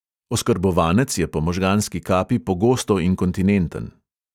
Oskrbovanec je po možganski kapi pogosto inkontinenten.